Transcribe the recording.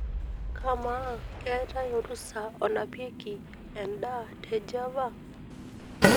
kamaa keetai orusa onapieki edaa te java